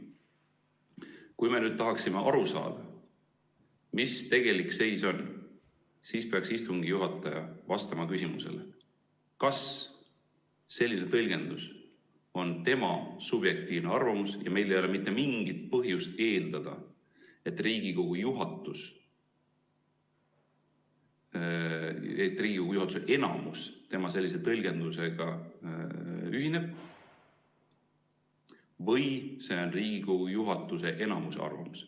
Kui me nüüd tahaksime aru saada, mis tegelik seis on, siis peaks istungi juhataja vastama küsimusele, kas selline tõlgendus on tema subjektiivne arvamus ja meil ei ole mitte mingit põhjust eeldada, et Riigikogu juhatuse enamus tema sellise tõlgendusega ühineb, või see on Riigikogu juhatuse enamuse arvamus.